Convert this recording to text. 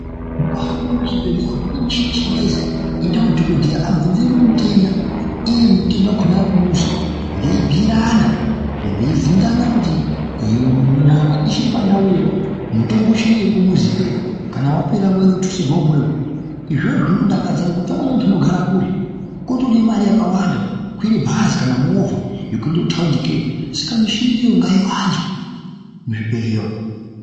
Mukahamba muzvibhehleya umu mune michini yechingezi inoiti kuti dhokodheya abvunze mutenda iye mutenda wakona arikumuzi veibhuyirana ,veibvunzana kuti nyama ichiri pandau ere mutombo uchiyo ere kumuzi ikeyo kana wapera vouya votutsirwe umweni izvozvo zvinodakadza ngekuti amweni antu anogara kure kotode mare yakawanda kukwire bhazi kana movha yekuende kutaundi ikeyo saka michiniyo ngaiwanzwe muzvibhhelya umu.